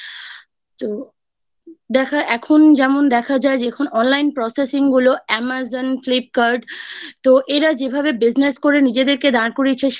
এখন যেমন দেখা যায় যখন Online Processing গুলো Amazon Flipkart তো এরা যেভাবে Business করে নিজেদেরকে দাঁড় করিয়েছে